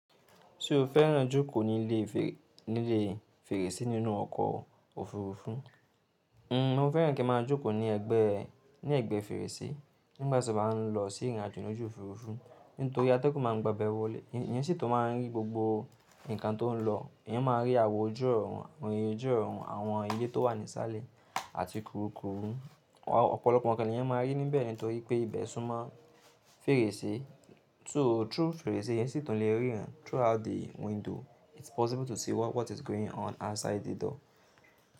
Ti o fẹ́ràn jókòó ní ilé fèrèsé nínú ọkọ̀ òfurufú, n o fẹ́ràn kí a máa jókòó ní ẹ̀gbẹ́ fèrèsé nígbàtí o bá ń lọ sí ìrìnàjò lójú òfurufú. Nítorí atẹ́gùn máa gba abẹ́ wọlé, ìyẹn sì tó máa ń rí gbogbo ǹkan tó ń lọ. Ìyẹn máa rí àwo ojú ọ̀run, àwọn ilé tó wà ní sálẹ̀ àti kurukùru. Ọ̀pọ̀lọpọ̀ ǹkan nìyẹn máa rí níbẹ̀ nítorí pé ibẹ̀ súnmọ́ fèrèsé. Through fèrèsé, ìyẹn sì tún le ríran. Through out the window it's possible to see what is going on outside the door.